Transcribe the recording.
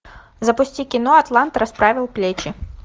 запусти кино атлант расправил плечи